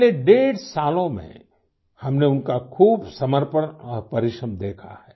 पिछले डेढ़ सालों में हमने उनका खूब समर्पण और परिश्रम देखा है